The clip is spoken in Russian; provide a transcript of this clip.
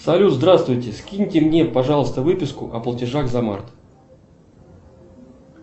салют здравствуйте скиньте мне пожалуйста выписку о платежах за март